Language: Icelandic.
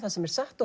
satt